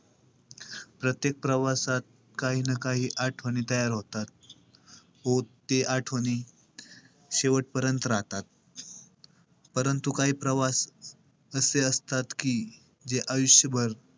प्रत्येक प्रवासात काही ना काही आठवणी तयार होतात. व ते आठवणी शेवटपर्यंत राहतात. परंतु काही प्रवास~ प्रवासी असतात कि, जे आयुष्यभर,